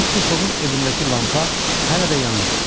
Mister Foqun evindəki lampa hələ də yanırdı.